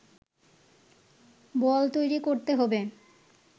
বল তৈরি করতে হবে